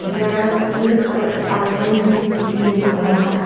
There are hills or island with greenery on the ho --